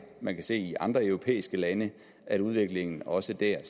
man kan se i andre europæiske lande at udviklingen også der er